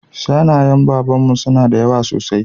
Shanayen Baban mu suna da yawa sosai